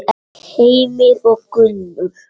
Heimir og Gunnur.